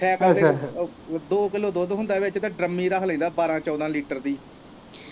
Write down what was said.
Cycle ਤੇ ਦੋ kilo ਦੁੱਧ ਹੁੰਦਾ ਵਿੱਚ ਤੇ ਡਰੰਮੀ ਚ ਰੱਖ ਲਈਦਾ ਬਾਰਾਂ ਚੋਦਾਂ ਲੀਟਰ ਦੀ।